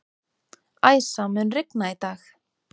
Æsa, mun rigna í dag?